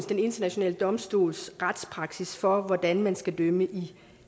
den internationale domstols retspraksis for hvordan man skal dømme i